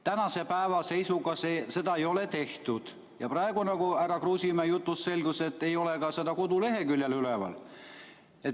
Tänase päeva seisuga seda ei ole tehtud ja praegu härra Kruusimäe jutust selgus, et seda ei ole ka koduleheküljel üleval.